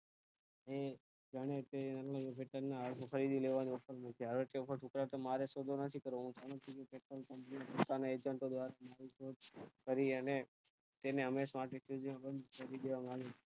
એ ગણે તેની જેવા લોકો ની હવે તે પછી તરત મારે શોધવાનું હોય છે કે હું company patent coupany ની દિશા મા agent દ્વારા કરી અને તેને હમેશ માટે ખરીદેલ